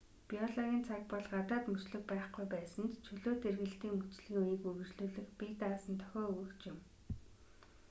биологийн цаг бол гадаад мөчлөг байхгүй байсан ч чөлөөт эргэлтийн мөчлөгийн үеийг үргэлжлүүлэх бие даасан дохио өгөгч юм